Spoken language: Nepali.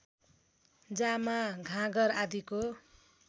जामा घाँगर आदिको